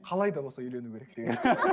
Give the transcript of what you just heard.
қалай да болса үйлену керек деген